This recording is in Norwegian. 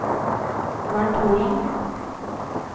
Bernt Holand